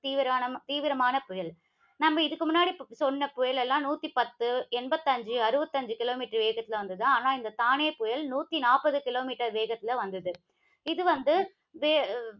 தீவிர~ தீவிரமான புயல். நம்ம இதுக்கு முன்னாடி சொன்ன புயல் எல்லாம் நூத்தி பத்து, எண்பத்தி ஐந்து, அறுபத்தைந்து, kilometer வேகத்தில வந்தது. ஆனால், இந்த தானே புயல் நூத்தி நாப்பது kilometer வேகத்தில வந்தது. இது வந்து, வே~